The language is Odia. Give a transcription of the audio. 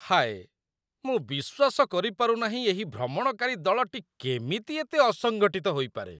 ହାୟ! ମୁଁ ବିଶ୍ୱାସ କରିପାରୁନାହିଁ ଏହି ଭ୍ରମଣକାରୀ ଦଳଟି କେମିତି ଏତେ ଅସଙ୍ଗଠିତ ହୋଇପାରେ!